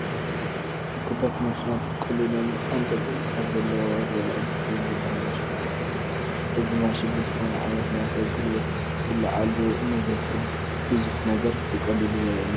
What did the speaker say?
ንከበድቲ ማሸናት ብቐሊሉ ኣንጠልጢሉ ካብ ዘለዎ ዘልዕል ክሬን ዝበሃል ማሽን ኣሎ፡፡ እዚ ማሽን ብዝኾነ ዓይነት ናይ ሰብ ጉልበት ክልዓል ንዘይኽእል ግዙፍ ነገር ብቐሊሉ ዘልዕል እዩ፡፡